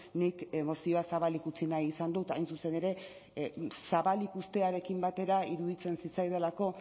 nik mozioa zabalik utzi nahi izan dut hain zuzen ere zabal ikustearekin batera iruditzen zitzaidalako